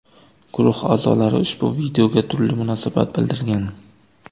Guruh a’zolari ushbu videoga turli munosabat bildirgan.